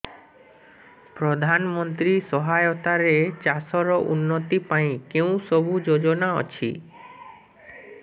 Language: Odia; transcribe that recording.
ପ୍ରଧାନମନ୍ତ୍ରୀ ସହାୟତା ରେ ଚାଷ ର ଉନ୍ନତି ପାଇଁ କେଉଁ ସବୁ ଯୋଜନା ଅଛି